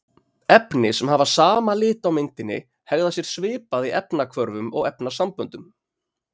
Efni sem hafa sama lit á myndinni hegða sér svipað í efnahvörfum og efnasamböndum.